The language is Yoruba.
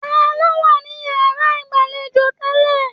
Taló wa ni yara igbalejo tẹlẹ?